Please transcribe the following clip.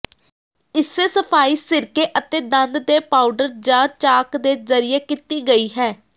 ਇਸੇ ਸਫਾਈ ਸਿਰਕੇ ਅਤੇ ਦੰਦ ਦੇ ਪਾਊਡਰ ਜ ਚਾਕ ਦੇ ਜ਼ਰੀਏ ਕੀਤੀ ਗਈ ਹੈ